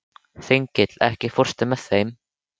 Þengill, ekki fórstu með þeim?